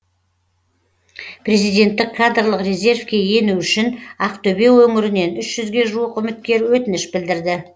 президенттік кадрлық резервке ену үшін ақтөбе өңірінен үш жүзге жуық үміткер өтініш білдірді